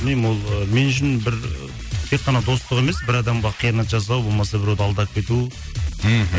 білмеймін ол ы мен үшін бір тек қана достық емес бір адамға қиянат жасау болмаса біреуді алдап кету мхм